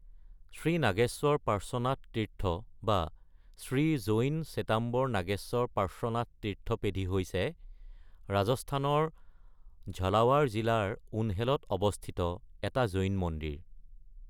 শ্ৰী নাগেশ্বৰ পাৰ্শ্বনাথ তীৰ্থ বা শ্ৰী জৈন শ্বেতাম্বৰ নাগেশ্বৰ পাৰ্শ্বনাথ তীৰ্থ পেধি হৈছে ৰাজস্থানৰ ঝলাৱাৰ জিলাৰ উনহেলত অৱস্থিত এটা জৈন মন্দিৰ।